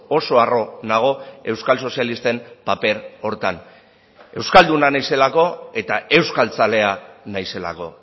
oso harro nago euskal sozialisten paper horretan euskalduna naizelako eta euskaltzalea naizelako